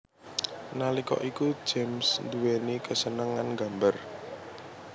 Nalika iku James nduwèni kesenengan nggambar